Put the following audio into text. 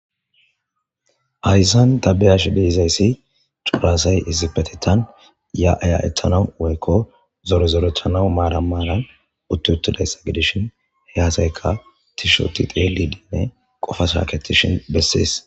Haysa ta beyashe di'izaysi c'ora asay issippetethan ya'a ya'etanaw woykon zore zoretana maran maran utti uttidaysa giddishin ubba asayka tishi histi xellidi qoffa shaketishin beses